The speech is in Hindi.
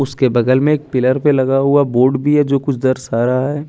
उसके बगल में एक पिलर पे लगा हुआ बोर्ड भी है जो कुछ दरसा रहा है।